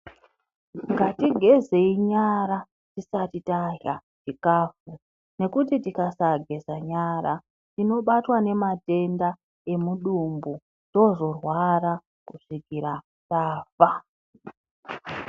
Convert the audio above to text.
Ngatigezei nyara tisati tarya chikafu ngekuti tikasageza nyara tinobatwa ngematenda emudumbu tozorwara kusvikira tafa.